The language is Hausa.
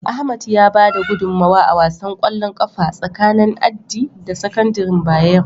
Ahmad ya bada gudunmawa a wasan ƙwallon ƙafa tsakanin Addi da sakandaren Bayero.